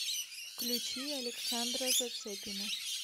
включи александра зацепина